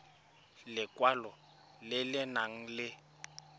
lekwalo le le nang le